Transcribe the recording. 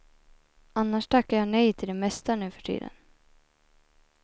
Annars tackar jag nej till det mesta nuförtiden.